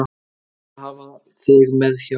Ég vil hafa þig mér hjá.